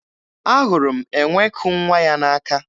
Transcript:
Ahụrụ m enwe ku nwa ya n'aka.